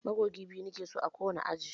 Magogi biyu nike so a ko wani aji.